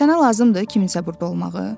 Sənə lazımdır kiminsə burda olmağı?